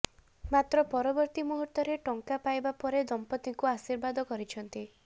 ମାତ୍ର ପରବର୍ତ୍ତି ମୁହୂର୍ତ୍ତରେ ଟଙ୍କା ପାଇବା ପରେ ଦମ୍ପତିଙ୍କୁ ଆଶୀର୍ବାଦ କରିଛନ୍ତି